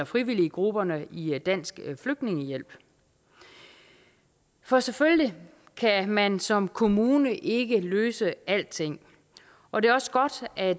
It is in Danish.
frivilliggrupperne i dansk flygtningehjælp for selvfølgelig kan man som kommune ikke løse alting og det er også godt at